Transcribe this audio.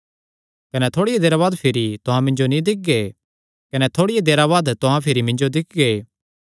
कने थोड़िया देरा बाद भिरी तुहां मिन्जो नीं दिक्खगे कने थोड़िया देरा बाद तुहां भिरी मिन्जो दिक्खगे